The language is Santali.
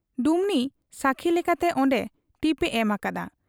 ᱰᱩᱢᱱᱤ ᱥᱟᱹᱠᱷᱤ ᱞᱮᱠᱟᱛᱮ ᱚᱱᱰᱮ ᱴᱤᱯ ᱮ ᱮᱢ ᱟᱠᱟᱫᱟ ᱾